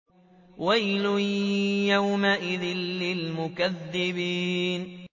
وَيْلٌ يَوْمَئِذٍ لِّلْمُكَذِّبِينَ